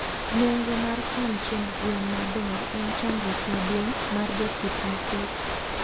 Nengo mar kan chiemb gwen maber en chandruok maduong mar jopith mathiso